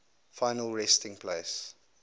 final resting place